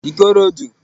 ikorodo